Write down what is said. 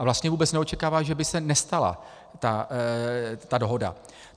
A vlastně vůbec neočekává, že by se nestala ta dohoda.